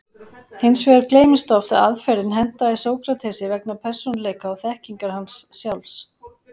Hins vegar gleymist oft að aðferðin hentaði Sókratesi vegna persónuleika og þekkingar hans sjálfs.